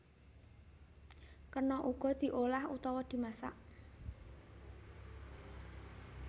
Kena uga diolah utawa dimasak